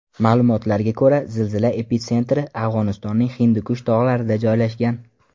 Ma’lumotlarga ko‘ra, zilzila epitsentri Afg‘onistonning Hindikush tog‘larida joylashgan.